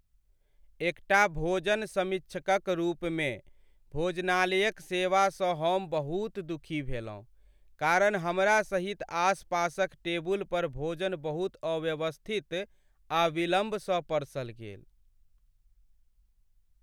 एकटा भोजन समीक्षकक रूपमे, भोजनालयक सेवासँ हम बहुत दुखी भेलहुँ, कारण हमरा सहित आसपासक टेबुल पर भोजन बहुत अव्यवस्थित आ विलंबसँ परसल गेल।